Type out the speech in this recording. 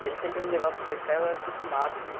E ele sempre me levava para pescar e eu era acostumado, assim.